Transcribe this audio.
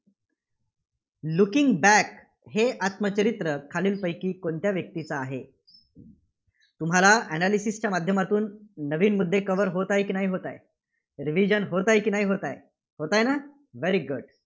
Looking back हे आत्मचरित्र खालीलपैकी कोणत्या व्यक्तीचं आहे? तुम्हाला analysis च्या माध्यमातून नवीन मुद्दे cover होत आहे की नाही होत आहे? revision होत आहे की नाही होत आहे? होत आहे ना? very good